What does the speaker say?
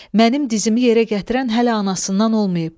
Mənim dizimi yerə gətirən hələ anasından olmayıb.